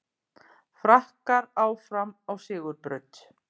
Frakkar áfram á sigurbraut